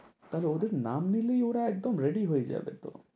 তাহলে ওদের নাম নিলেই ওরা একদম ready হয়ে যাবে তো।